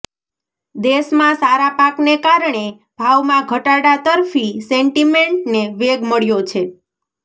દેશમાં સારા પાકને કારણે ભાવમાં ઘટાડા તરફી સેન્ટિમેન્ટને વેગ મળ્યો છે